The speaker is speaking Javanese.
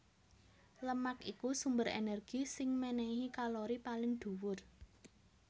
Lemak iku sumber énergi sing ménéhi kalori paling dhuwur